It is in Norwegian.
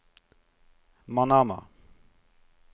Manama